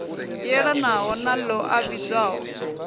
yelanaho na ḽo a vhidzwaho